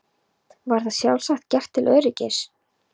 Var það sjálfsagt gert til öryggis.